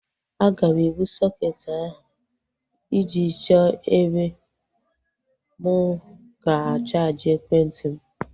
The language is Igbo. Aga m ebu sọketi ahu ije chọọ ebe m ga-chaaji ekwentị m